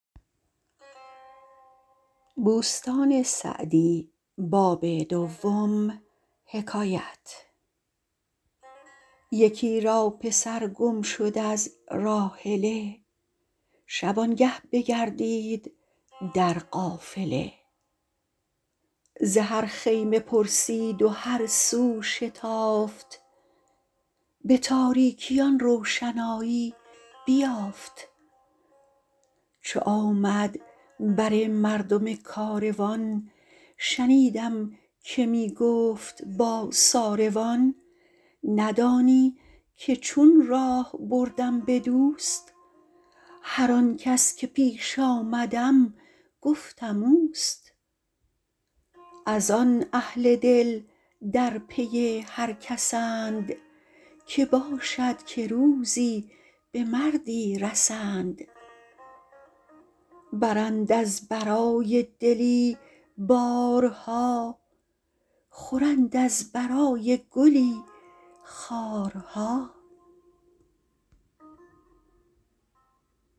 یکی را پسر گم شد از راحله شبانگه بگردید در قافله ز هر خیمه پرسید و هر سو شتافت به تاریکی آن روشنایی بیافت چو آمد بر مردم کاروان شنیدم که می گفت با ساروان ندانی که چون راه بردم به دوست هر آن کس که پیش آمدم گفتم اوست از آن اهل دل در پی هر کسند که باشد که روزی به مردی رسند برند از برای دلی بارها خورند از برای گلی خارها